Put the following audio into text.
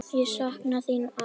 Ég sakna þín, afi.